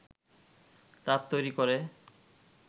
তাপ তৈরি করে